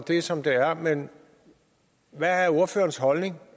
det er som det er men hvad er ordførerens holdning